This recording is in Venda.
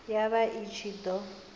ya vha i ṱshi ḓo